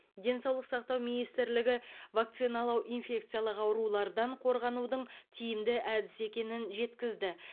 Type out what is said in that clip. денсаулық сақтау министрлігі вакциналау инфекциялық аурулардан қорғанудың тиімді әдісі екенін жеткізді